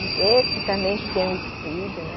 Esse também que tem um estúdio, né?